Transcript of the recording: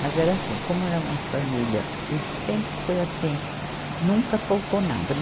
Mas era assim, como era uma família, e sempre foi assim, nunca faltou nada.